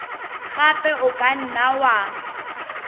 gape o ka nna wa